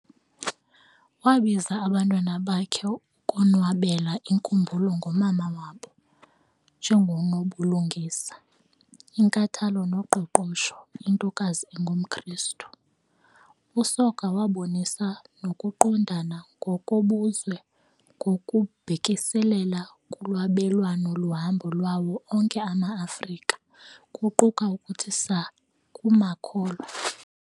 Wabiza abantwana bakhe ukonwabela inkumbulo ngomama wabo "njengonobulungisa, inkathalo noqoqosho, intokazi engumKrestu". USoga wabonisa nokuqondana ngokobuzwe ngokubhekiselele kulwabelwano lohambo lwawo onke ama-Afrika, kuquka ukuthi saa kwamakholwa.